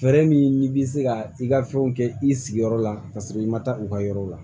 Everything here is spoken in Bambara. Fɛɛrɛ min n'i bi se ka i ka fɛnw kɛ i sigiyɔrɔ la ka sɔrɔ i ma taa u ka yɔrɔ la